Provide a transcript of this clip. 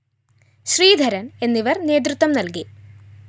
ശ്രീധരന്‍ എന്നിവര്‍ നേതൃത്വം നല്‍കി